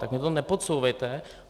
Tak mi to nepodsouvejte.